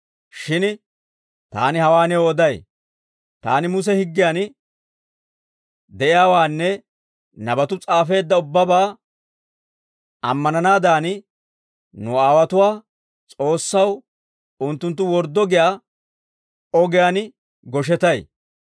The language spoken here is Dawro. «Shin taani hawaa new oday; taani Muse higgiyan de'iyaawaanne nabatuu s'aafeedda ubbabaa ammananaadan, nu aawotuwaa S'oossaw unttunttu worddo giyaa ogiyaan goshetay.